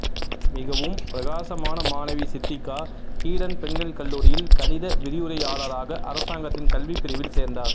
மிகவும் பிரகாசமான மாணவி சித்திகா ஈடன் பெண்கள் கல்லூரியில் கணித விரிவுரையாளராக அரசாங்கத்தின் கல்விப் பிரிவில் சேர்ந்தார்